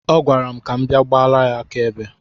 Ọ gwara m ka m bịa gbala ya aka ebe.